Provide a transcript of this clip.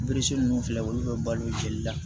ninnu filɛ olu bɛ balo jeli la